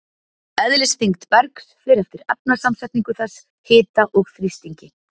Eðlisþyngd bergs fer eftir efnasamsetningu þess, hita og þrýstingi.